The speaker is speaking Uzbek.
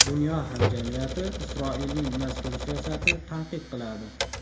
Dunyo hamjamiyati Isroilning mazkur siyosatini tanqid qiladi.